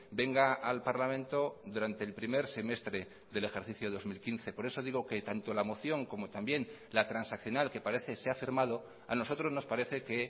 venga al parlamento durante el primer semestre del ejercicio dos mil quince por eso digo que tanto la moción como también la transaccional que parece se ha firmado a nosotros nos parece que